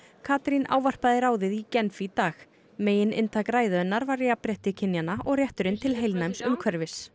Katrín ávarpaði ráðið í Genf í dag megininntak ræðu hennar var jafnrétti kynjanna og rétturinn til heilnæms umhverfis